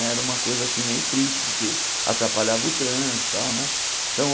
Era uma coisa assim meio triste, porque atrapalhava o trânsito tal né. Então